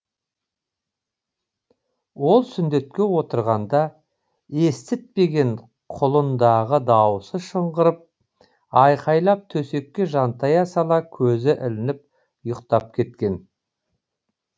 ол сүндетке отырғанда естітпеген құлын дағы дауысы шыңғырып айқайлап төсекке жантая сала көзі ілініп ұйықтап кеткен